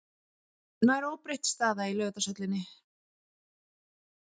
Nær óbreytt staða í Laugardalshöllinni